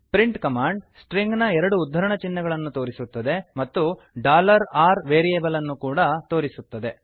print command string ನ ಎರಡು ಉದ್ಧರಣ ಚಿಹ್ನೆಗಳನ್ನು ತೋರಿಸುತ್ತದೆ ಮತ್ತು r ವೇರಿಯೆಬಲ್ ಅನ್ನು ಕೂಡ ತೋರಿಸುತ್ತದೆ